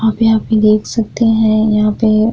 आप यहाँ पे देख सकते हैं यहाँ पे --